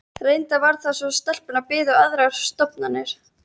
Reyndar var það svo að stelpunnar biðu aðrar stofnanir.